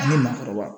A bɛ nafaba